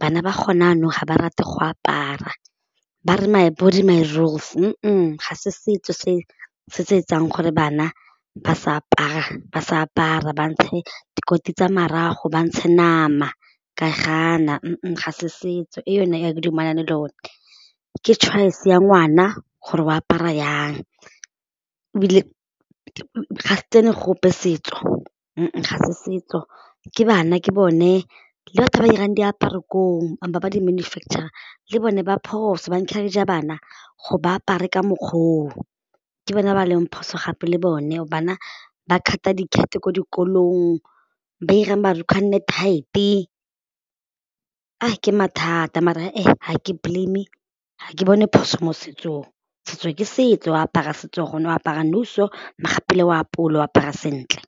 bana ba gone jaanong ga ba rate go apara ba re my body my rules, ga se setso se, se se etsang gore bana ba sa apara, ba sa apara ba ntshe dikotsi tsa marago ba ntshe nama ke a e gana, ga se setso e yone a ke dumela le yone ke choice ya ngwana gore o apara jang ebile ga se tsene gope setso ga setso ke bana ke bone le batho ba irang diaparo koo ba ba di manufacture-rang le bone ba phoso encourage-a bana go ba apare ka mokgwa oo, ke ke bone ba leng phoso gape le bone bana ba cut-a dikete ko dikolong ba ira marukgwe a nne tight-e, a ke mathata mara ga ke blame ga ke bone phoso mo setsong, setso ke setso o apara setso gone go apara nou so o apole o apara sentle.